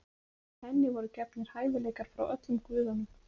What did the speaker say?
Henni voru gefnir hæfileikar frá öllum guðunum.